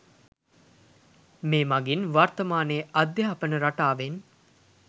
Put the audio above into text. මේ මගින් වර්තමානයේ අධ්‍යාපන රටාවෙන්